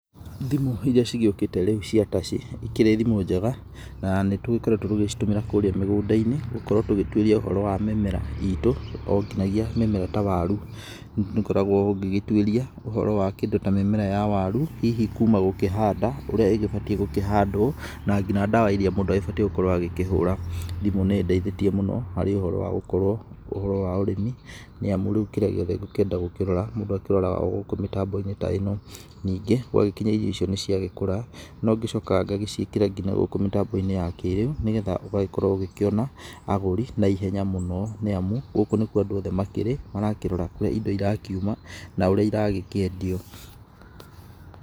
Thimũ iria cigĩũkĩte rĩu cia taci, ikĩrĩ thimũ njega, na nĩtũkoretwo tũgĩcitũmĩra kũrĩa mĩgũnda-inĩ, gũkorwo tũgĩtuĩria ũhoro wa mĩmera itũ, onginyagia mĩmera ta waru nĩũkoragwo ũgĩgĩtuĩria ũhoro wa kĩndũ ta mĩmera ya waru, hihi kuma gũkĩhanda, ũrĩa ĩgĩbatiĩ gũkĩhandwo, na nginya ndawa iria mũndũ agĩbatiĩ gũkorwo agĩkĩhũra. Thimũ nĩ ĩndaithĩtie mũno harĩ ũhoro wagũkorwo, ũhoro wa ũrĩmi, nĩamu rĩu kĩrĩa gĩothe ngũkĩenda gũkĩrora, mũndũ akĩroraga ogũkũ mĩtambo-inĩ ta ĩno. Ningĩ, gwagĩkinya irio icio nĩciagĩkũra, nongĩcokaga ngagĩciĩkĩra nginya gũkũ mĩtambo-inĩ ya kĩrĩu nĩgetha ũgagĩkorwo ũgĩkĩona agũri naihenya mũno, nĩamu gũkũ nĩkuo andũ othe makĩrĩ, marakĩrora kũrĩa indo irakiuma, na ũrĩa iragĩkĩendio.